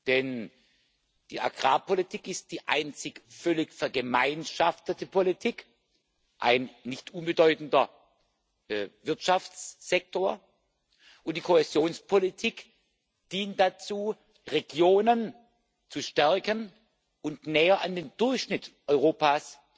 Denn die Agrarpolitik ist die einzige völlig vergemeinschaftete Politik, ein nicht unbedeutender Wirtschaftssektor, und die Kohäsionspolitik dient dazu, Regionen zu stärken und näher an den Durchschnitt Europas